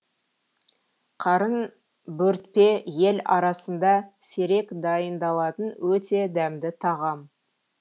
қарын бөртпе ел арасында сирек дайындалатын өте дәмді тағам